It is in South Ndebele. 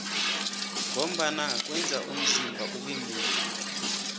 ngombana kweza umzimba ube mumbi